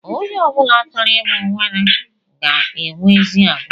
Onye ọbula chọrọ ịbụ weta ga enwe ezi àgwà